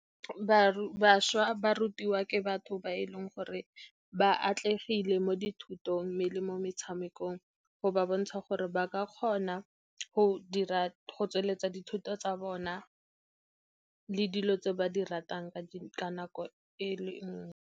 Bašwa ba rutiwa ke batho ba e leng gore ba atlegile mo dithutong, mme le mo metshamekong, go ba bontsha gore ba ka kgona go tsweletsa dithuto tsa bona le dilo tse ba di ratang ka nako e le nngwe.